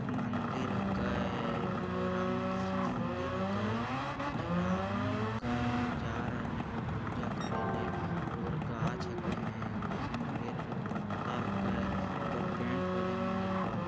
मंदिर ह कय एगो राम मंदिर लइसन मंदिर ह कय ढेर आदमी हे कय जा रहिले है पूजा करेले उधर घास हके घास में हरियल-हरियल पत्ता ह कय कई इधर पेंट होले मंदिलवा।